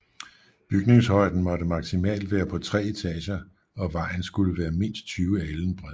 Bygningshøjden måtte maksimalt være på tre etager og vejen skulle være mindst 20 alen bred